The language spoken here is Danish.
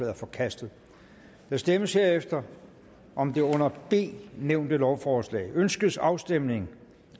er forkastet der stemmes herefter om det under b nævnte lovforslag ønskes afstemning